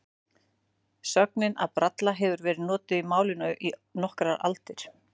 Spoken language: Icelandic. Sögnin að bralla hefur verið notuð í málinu í nokkrar aldir.